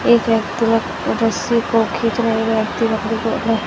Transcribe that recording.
एक व्यक्ति रस्सी को खींच रहें --